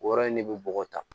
O yɔrɔ in de bɛ bɔ tan